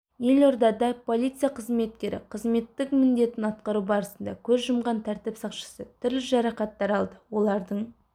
елордада полиция қызметкері қызметтік міндетін атқару барысында көз жұмған тәртіп сақшысы түрлі жарақаттар алды олардың